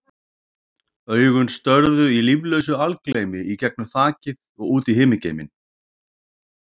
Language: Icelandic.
Augun störðu í líflausu algleymi í gegnum þakið og út í himingeiminn.